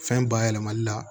Fɛn bayɛlɛmali la